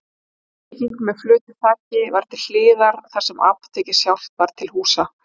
Viðbygging með flötu þaki var til hliðar þar sem apótekið sjálft var til húsa.